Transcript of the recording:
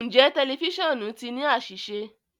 Njẹ tẹlifisiọnu ti ni aṣiṣe?